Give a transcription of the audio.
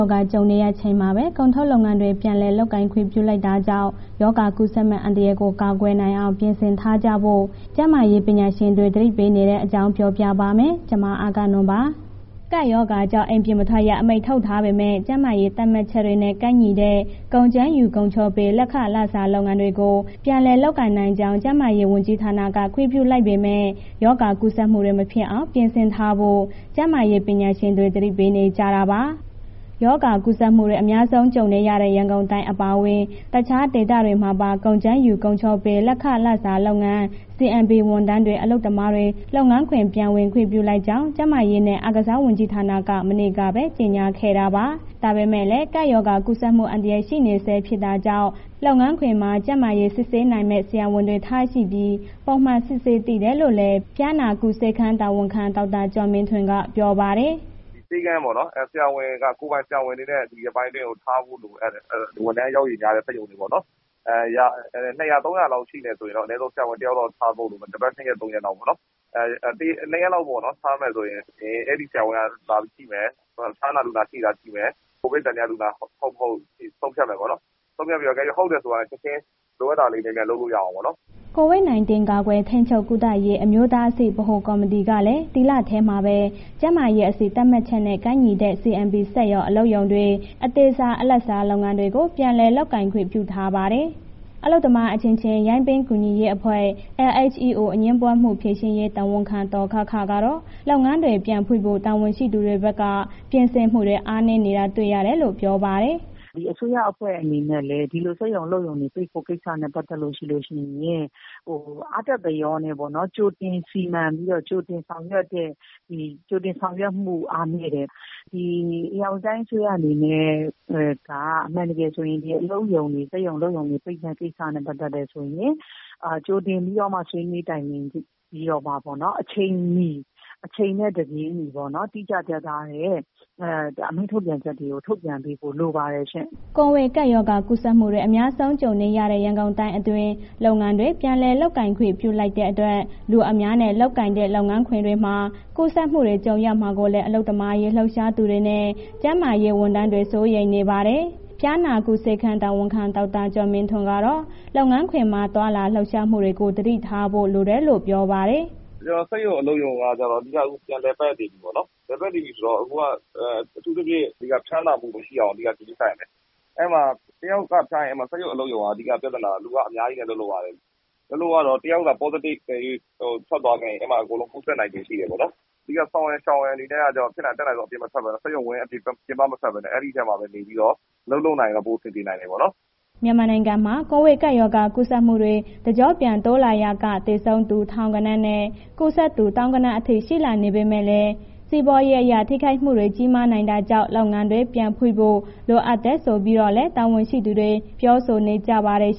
ောဂါ ကြုံနေရချိန်မှာပဲ ကုန်ထုတ်လုပ်ငန်းတွေ ပြန်လည်လုပ်ကိုင်ခွင့် ပြုလိုက်တာကြောင့် ရောဂါကူးစက်မယ့် အန္တရာယ်ကို ကာကွယ်နိုင်အောင် ပြင်ဆင်ထားကြဖို့ ကျန်းမာရေးပညာရှင်တွေ သတိပေးနေတဲ့အကြောင်းကို ဗွီအိုအေမြန်မာပိုင်းသတင်းထောက် မအဂ္ဂနွန်က ပြောပြပါမယ်။ ကပ်ရောဂါကြောင့် အိမ်ပြင်မထွက်ရ အမိန့်ထုတ်ထားပေမဲ့ ကျန်းမာရေးသတ်မှတ်ချက်တွေနဲ့ ကိုက်ညီတဲ့ ကုန်ကြမ်းယူ၊ ကုန်ချောပေး လက်ခစားလုပ်ငန်းတွေကို ပြန်လည်လုပ်ကိုင်နိုင်ကြောင်း ကျန်းမာရေးဝန်ကြီးဌာနက ခွင့်ပြုလိုက်ပေမဲ့ ရောဂါကူးစက်မှုတွေ မဖြစ်အောင် ပြင်ဆင်ထားဖို့ ကျန်းမာရေး ပညာရှင်တွေ သတိပေးနေကြတာပါ။ ရောဂါကူးစက်မှုတွေ အများဆုံး ကြုံနေရတဲ့ ရန်ကုန်တိုင်း အပါအဝင် တခြားဒေသတွေမှာပါ ကုန်ကြမ်းယူ ကုန်ချောပေးလက်ခစားလုပ်ငန်း ဝန်ထမ်းတွေ အလုပ်သမားတွေ လုပ်ငန်းခွင် ပြန်ဝင်ခွင့်ပြုလိုက်ကြောင်း ကျန်းမာရေးနဲ့ အားကစားဝန်ကြီးဌာက မနေ့ကပဲ ကြေညာခဲ့တာပါ။ ဒါပေမဲ့လည်း ကပ်ရောဂါ ကူးစက်မှု အန္တရာယ် ရှိနေဆဲ ဖြစ်တာကြောင့် လုပ်ငန်းခွင်မှာ ကျန်းမာရေးစစ်ဆေးနိုင်မယ့် ဆရာဝန်တွေထားရှိပြီး ပုံမှန်စစ်ဆေးသင့်တယ်လို့လည်း ဖျားနာကုဆေးခန်း တာဝန်ခံ ဒေါက်တာကျော်မင်းထွန်းက ပြောပါတယ်။ “ဆေးခန်းပေ့ါနော်... ဆရာဝန်က ကိုယ်ပိုင်ဆရာဝန်တွေနဲ့ ထားဖို့လိုအပ်တယ်။ ဝန်ထမ်းအယောက်ရေများတဲ့ စက်ရုံတွေပေါ့နော်။ ၂၀၀၊ ၃၀၀ လောက်ရှိမယ်ဆိုရင်တော့ အနည်းဆုံး ဆရာဝန်တစ်ယောက်လောက်ထားဖို့ လိုမယ်။ တစ်ပတ် နှစ်ရက်၊ သုံးရက်လောက်ပေါ့နော်၊ နှစ်ရက်လောက် ထားမယ်ဆိုရင် အဲ့ဒီဆရာဝန်က လာပြီး ကြည့်မယ်။ ဖျားနာလူနာတွေ့တာရှိမယ်၊ ကိုဗစ်သံသယလူနာ ဟုတ်၊ မဟုတ်ဆုံးဖြတ်မယ်ပေါ့နော်။ ဆုံးဖြတ်ပြီးတော့ တကယ်လို့ ဟုတ်တယ်ဆိုရင် ချက်ချင်းလိုတာလေး မြန်မြန်လုပ်လို့ရအောင်ပေါ့နော်။” COVID-19 ကာကွယ်၊ ထိန်းချုပ်ကုသရေး အမျိုးသားအဆင့် ဗဟိုကော်မတီကလည်း ဒီလထဲမှာပဲ ကျန်းမာရေးအဆင့်သတ်မှတ်ချက်နဲ့ ကိုက်ညီတဲ့ CMP စက်ရုံ၊ အလုပ်ရုံတွေ၊ အသေးစား၊ အလတ်စား လုပ်ငန်းတွေကို ပြန်လည်လုပ်ကိုင်ခွင့် ပြုထားပါတယ်။ အလုပ်သမား အချင်းချင်း ရိုင်းပင်းကူညီရေးအဖွဲ့ LHEO အငြင်းပွားမှု ဖြေရှင်းရေး တာဝန်ခံ ဒေါ်ခခ ကတော့ လုပ်ငန်းတွေ ပြန်ဖွင့်ဖို့ တာဝန်ရှိသူတွေဘက်က ပြင်ဆင်မှုတွေ အားနည်းတာတွေ့ရတယ်လို့ ပြောပါတယ်။ “အစိုးရအဖွဲ့အနေနဲ့လည်း ဒီလို စက်ရုံ၊ အလုပ်ရုံ ပိတ်ဖို့ ကိစ္စနဲ့ ပတ်သက်ပြီး အားတက်သရော ကြိုတင်စီမံဆောင်ရွက်မှု အားနည်းတယ်၊ ဒီဧရာဝတီတိုင်းအစိုးရအနေနဲ့က အမှန်တကယ်ဆိုရင် စက်ရုံ၊ အလုပ်ရုံပိတ်တဲ့ကိစ္စနဲ့ ပတ်သက်တယ်ဆိုရင် ကြိုတင်ပြီးတော့မှာ ဆွေးနွေးတိုင်ပင်ပြီးတော့မှ အချိန်မီ အချိန်နဲ့ တပြေးညီပေါ့... တိကျပြတ်သားတဲ့ ထုတ်ပြန်ချက်တွေ ထုတ်ပြန်ပေးဖို့ လိုတယ်ပါတယ်ရှင်။” ကိုဗစ်ကပ်ရောဂါ ကူးစက်မှုတွေ အများစုကြုံနေရတဲ့ ရန်ကုန်တိုင်းအတွင်း လုပ်ငန်းတွေ ပြန်လည်လုပ်ကိုင်ခွင့် ပြုလိုက်တဲ့အတွက် လူအများနဲ့ လုပ်ကိုင်တဲ့ လုပ်ငန်းခွင်တွေမှာ ကူးစက်မှုတွေ ကြုံရမှာကိုလည်း အလုပ်သမားရေး လှုပ်ရှားသူတွေနဲ့ ကျန်းမာရေးဝန်ထမ်းတွေ စိုးရိမ်နေပါတယ်။ ဖျားနာကုဆေးခန်းတာဝန်ခံ ဒေါက်တာကျော်မင်းထွန်းကတော့ လုပ်ငန်းခွင်မှာ သွားလာလှုပ်ရှားမှုတွေကို သတိထားဖို့ လိုတယ်လို့ ပြောပါတယ်။ “စက်ရုံ၊ အလုပ်ရုံကကျတော့ အဓိကပြန်လည်ပတ်နေပြီးပေါ့နော်၊ လည်ပြန်နေပြီဆိုတော့ အခုကအထူးသဖြင့် ဖျားနာမှု မရှိအောင် အဓိကဂရုစိုက်ရမယ်၊ အဲ့မှာ တစ်ယောက်က ဖျားရင် အဲ့မှာ စက်ရုံ၊ အလုပ်ရုံက အဓိက ပြဿနာက လူကအများကြီးနဲ့ အလုပ်လုပ်ရတယ်၊ အလုပ်လုပ်ရတော့ တစ်ယောက်က positive တကယ်၍ထွက်သွားခဲ့ရင် အဲ့မှာအကုန်လုံးကူးစက်နိုင်ခြေရှိတယ်ပေါ့နော်၊ အဓိက ဆောင်ရန် ရှောင်ရန်တွေအနေနဲ့ကတော့ ဖြစ်နိုင်ရင် အတတ်နိုင်ဆုံး အပြင်မထွက်ဘဲနဲ့ စက်ရုံဝန်း ပြင်ပ မထွက်ဘဲနဲ့ အဲ့ဒီထဲမှာပဲ နေပြီးတော့ အလုပ်လုပ်နိုင်ရင် ပိုအဆင်ပြေနိုင်တယ်ပေါ့နော်။” မြန်မာနိုင်ငံမှာ ကိုဗစ်ကပ်ရောဂါ ကူးစက်မှုတွေ တကျော့ပြန်တိုးလာရာက သေဆုံးသူ ထောင်ဂဏန်းနဲ့ ကူးစက်သူ သောင်းဂဏန်းအထိ ရှိလာနေပေမဲ့လည်း စီးပွားရေးအရ ထိခိုက်မှုတွေ ကြီးမားနိုင်တာကြောင့် လုပ်ငန်းတွေ ပြန်ဖွင့်ဖို့ လိုအပ်တယ်ဆိုပြီးတော့လည်း တာဝန်ရှိသူတွေ ပြောဆိုထားကြပါတယ်။